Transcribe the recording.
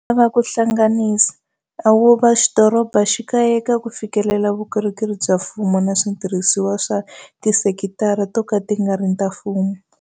Va lava ku hlanganisa a vo wa dorobaxikaya eka ku fikelela vukorhokeri bya mfumo na switirhisiwa swa tisekitara to ka ti nga ri ta mfumo.